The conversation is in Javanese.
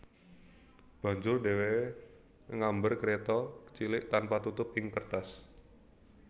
Banjur dheweke ngambar kreta cilik tanpa tutup ing kertas